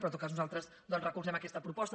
però en tot cas nosaltres doncs recolzem aquesta proposta